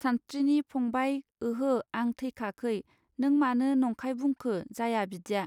सानस्त्रिनि फंबाय ओहो आं थैखाखै नों मानो नंखाय बुंखो जाया बिदिया.